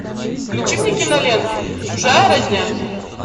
включи мне киноленту чужая родня